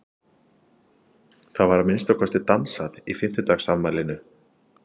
Það var að minnsta kosti dansað í fimmtugsafmælinu.